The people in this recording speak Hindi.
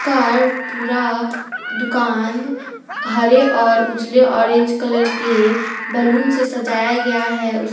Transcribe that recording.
कार पूरा दुकान हरे और उजले ऑरेंज कलर के बैलून से सजाया गया है उसके--